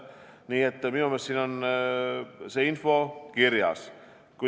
Nii et minu meelest on see info kõik kirjas.